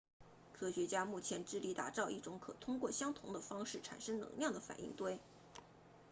科学家目前致力打造一种可通过相同的方式产生能量的反应堆